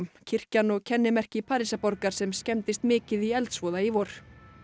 kirkjan og kennimerki Parísarborgar sem skemmdist mikið í eldsvoða í vor